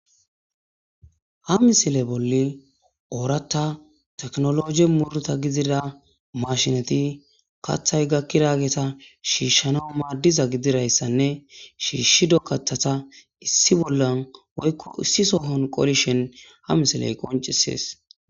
Ha misile bolli ooratta teknolojje muruta gidida mashineti kathay gakkiyagetta shiishshana maaddiza gididayssanne shiishshido kathata issi bollan woykko issi sohon qolishen ha misiley qoncisees.